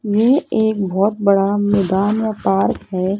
ये एक बहोत बड़ा मैदान या पार्क हैं।